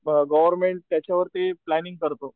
Government त्याच्या वरती planning करतो.